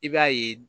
I b'a ye